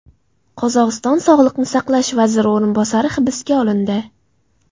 Qozog‘iston sog‘liqni saqlash vaziri o‘rinbosari hibsga olindi.